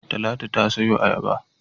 Talatu ta sayo ayaba.